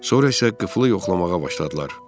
Sonra isə qıflı yoxlamağa başladılar.